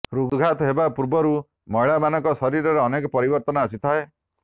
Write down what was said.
ହୃଦ୍ଘାତ ହେବା ପୂର୍ବରୁ ମହିଳାମାନଙ୍କ ଶରୀରରେ ଅନେକ ପରିବର୍ତ୍ତନ ଆସିଥାଏ